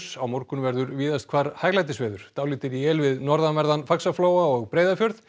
á morgun verður víðast hvar hæglætisveður dálítil él við norðanverðan Faxaflóa og Breiðafjörð